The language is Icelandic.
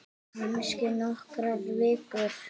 Kannski bara nokkrar vikur.